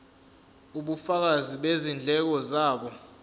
ubufakazi bezindleko zabo